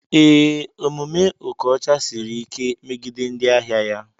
Ee, omume okocha Siri like megide ndị ahịa ya.